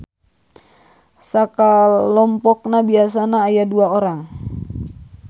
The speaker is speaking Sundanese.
Sakalompokna biasana aya dua urang.